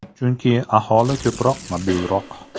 Chunki aholi ko‘proq mobilroq.